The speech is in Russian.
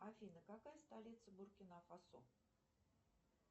афина какая столица буркина фасо